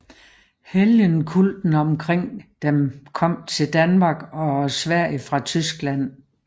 Helgenkulten omkring dem kom til Danmark og Sverige fra Tyskland